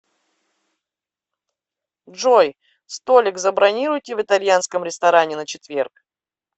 джой столик забронируйте в итальянском ресторане на четверг